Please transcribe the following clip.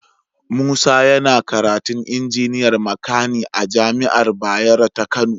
Musa yana karatu injiniyar makani a jami'ar Bayero ta Kano